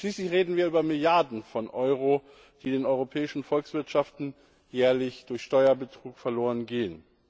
Schließlich reden wir über Milliarden von Euro, die den europäischen Volkswirtschaften jährlich durch Steuerbetrug verloren gehen.